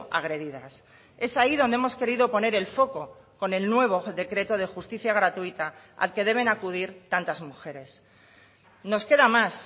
agredidas es ahí donde hemos querido poner el foco con el nuevo decreto de justicia gratuita al que deben acudir tantas mujeres nos queda más